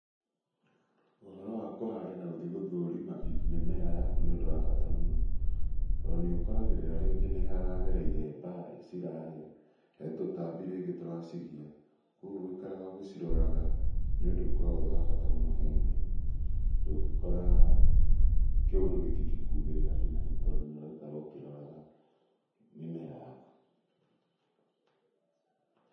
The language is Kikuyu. Ũhoro wa kũhanda na gũthiĩ gũthũrima mĩmera yaku nĩ ũndũ wa bata mũno. Tondũ nĩ ũkoragĩrĩra rĩngĩ nĩ haragereire mbaa cirahĩa, he tũtambi rĩngĩ tũracigia. Kũguo gũikaraga ũgĩciroraga nĩ ũndu ũkoragwo wa bata harĩ mũrĩmi. Ndũngĩkora, kĩũndũ gĩtingĩkumĩrĩra hi na hi tondũ nĩ ũraikara ũkĩroraga mĩmera yaku.